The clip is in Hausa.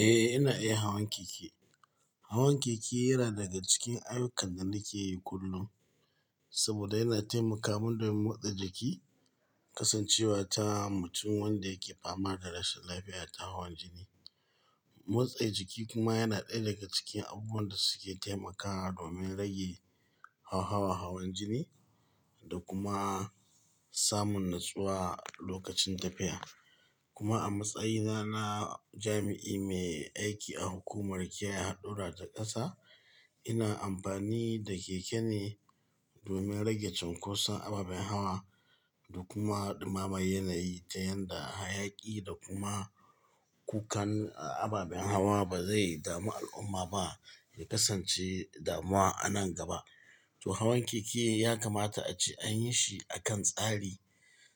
Eh, ina iya hawan keke. Hawan keke yana daga cikin ayyukan da nake yi kullum saboda yana taimakamin domin motsa jiki, kasancewa ta mutum wanda yake fama da rashin lafiya ta hawan jini. Motsa jiki kuma yana ɗaya daga cikin abubuwan da suke taimakawa domin rage hauhawa hawan jini da kuma samun natsuwa lokacin tafiya. Kuma a matsayina na jami'i mai aiki a hukumar kiyaye haɗura ta ƙasa, ina amfani da keke ne domin rage cunkoson ababen hawa da kuma ɗimamar yanayi ta yadda hayaƙi da kuma kukan ababen hawa ba zai dami al'umma ba, ya kasance damuwa a nan gaba. To hawan keke ya kamata a ce an yi shi a kan tsari,